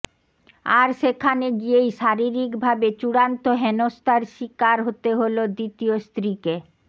আর সেখানে গিয়েই শারীরিক ভাবে চূড়ান্ত হেনস্থার শিকার হতে হল দ্বিতীয় স্ত্রীকে